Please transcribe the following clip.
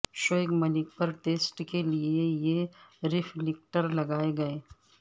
شعیب ملک پر ٹیسٹ کے لیے یہ رفلیکٹر لگائے گئے